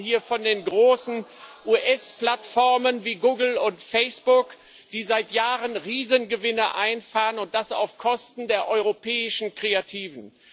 Wir reden hier von den großen US Plattformen wie Google und Facebook, die seit Jahren Riesengewinne einfahren, und das auf Kosten der europäischen Kreativen.